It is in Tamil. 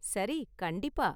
சரி கண்டிப்பா.